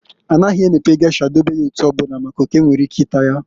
A naghị emepe gesha dobe ya etu ọbụna, maka n'oke nwere ike ịta ya.